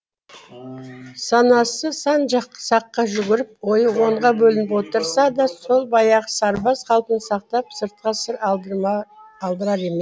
санасы сан саққа жүгіріп ойы онға бөлініп отырса да сол баяғы сырбаз қалпын сақтап сыртқа сыр алдырар емес